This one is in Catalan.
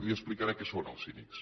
li explicaré què són els cínics